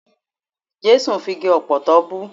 Jẹ́sù fi igi ọ̀pọ̀tọ́ bú.